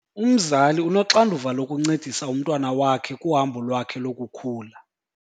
Umzali unoxanduva lokuncedisa umntwana wakhe kuhambo lwakhe lokukhula.